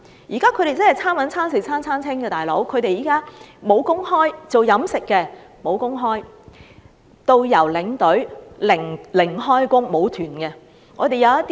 現時他們真是"餐搵餐食餐餐清"，從事飲食業的沒有工作，導遊和領隊又因而沒有旅行團而"零開工"。